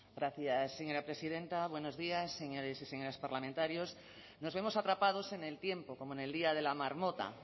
gracias señora presidenta buenos días señores y señoras parlamentarios nos vemos atrapados en el tiempo como en el día de la marmota